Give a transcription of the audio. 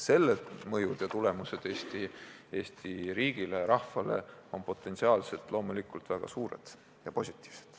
Selle mõju Eesti riigile ja rahvale on potentsiaalselt loomulikult väga suur ja positiivne.